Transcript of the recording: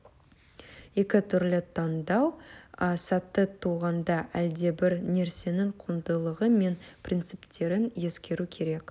екі түрлі таңдау сәті туғанда әлдебір нәрсенің құндылығы мен принциптерін ескеру керек